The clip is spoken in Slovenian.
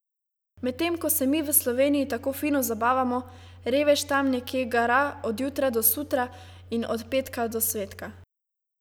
Medtem ko se mi v Sloveniji tako fino zabavamo, revež tam nekje gara od jutra do sutra in od petka do svetka.